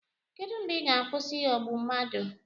Kedụ mgbe ị ga-akwụsị ịghọgbu mmadụ?